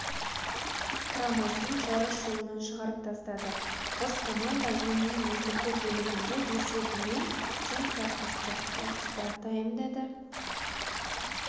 құрамасын жарыс жолынан шығарып тастады қос команда ойынның негізгі бөлігінде есебімен тең тарқасты экстра-таймда да